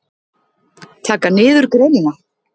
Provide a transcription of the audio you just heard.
Taka niður greinina?